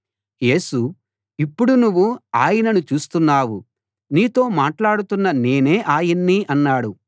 యేసు ఇప్పుడు నువ్వు ఆయనను చూస్తున్నావు నీతో మాట్లాడుతున్న నేనే ఆయన్ని అన్నాడు